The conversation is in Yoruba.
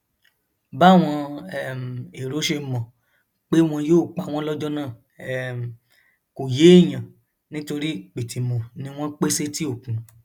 báwọn um èrò ṣe mọ pé wọn yóò pa wọn lọjọ náà um kò yéèyàn nítorí pìtìmù ni wọn pè sétí òkun